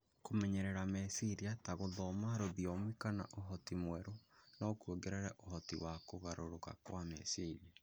Kũmenyeria meciria, ta gũthoma rũthiomi kana ũhoti mwerũ, no kũongerere ũhoti wa kũgarũrũka kwa meciria.